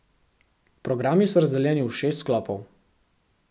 Programi so razdeljeni v šest sklopov.